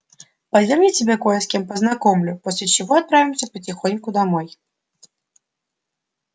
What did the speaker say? пойдём я тебя кое с кем познакомлю после чего отправимся потихоньку домой